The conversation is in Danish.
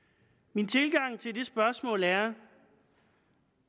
min tilgang til det spørgsmål er